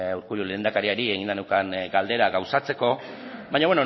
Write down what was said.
urkullu lehendakariari eginda neukan galdera gauzatzeko baina